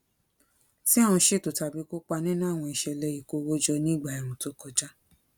tí a ń ṣètò tàbí kópa nínú àwọn ìṣẹlẹ ìkó owó jọ ní ìgbà ẹẹrùn tó kọjá